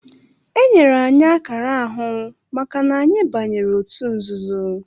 Enyere anyị akara ahụ maka na anyị banyere otu nzuzo